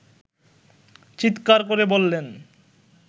চিৎকার করে বললেন